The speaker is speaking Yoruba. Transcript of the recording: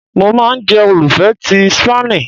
Mo ma n jẹ olufẹ ti Spani